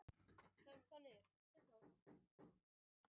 Sumir fletir endurvarpa svo alls engu ljósi og þá skynjum við sem svarta.